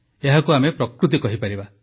ଏହାକୁ ଆମେ ପ୍ରକୃତି କହିପାରିବା